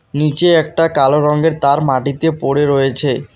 নীচে একটা কালো রঙ্গের তার মাটিতে পড়ে রয়েছে।